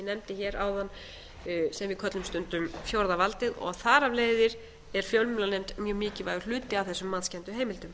nefndi hér áðan sem við köllum stundum fjórða valdið og þar af leiðir er fjölmiðlanefnd mjög mikilvægur hluti af þessum matskenndu heimildum